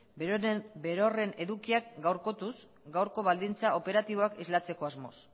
berroren edukiak gaurkotuz gaurko baldintzak operatiboak islatzeko asmoz